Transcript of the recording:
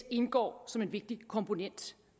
indgår som en vigtig komponent